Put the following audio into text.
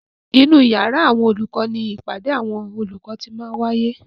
Inú yàrá àwọn olùkọ ni ìpàdé àwọn olùkọ ti máa ń wáyé.